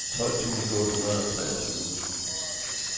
tolv tusind otte hundrede og treogtyve